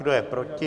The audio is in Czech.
Kdo je proti?